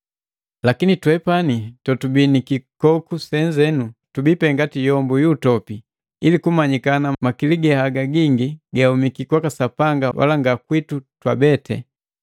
Lakini twepani totubii ni kikoku senze, tubii pe ngati yombu yu utopi, ili kumanyikana makili ge haga gingi gahumiki kwaka Sapanga wala nga kwitu twabete.